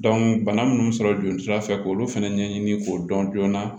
bana minnu sɔrɔ jolisira fɛ k'olu fɛnɛ ɲɛɲini k'o dɔn joona